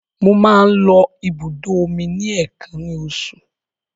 Mo máa ń lọ ibùdó omi ní èèkàn ní oṣù.